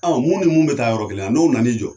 Ɔ mun ni mun bɛ taa yɔrɔ kelen n'o na n'i jɔ